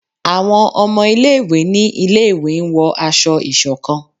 Àwọn ọmọ ilẹ̀ ìwé ní ilé ìwé n wọ asọ̀-ìsokán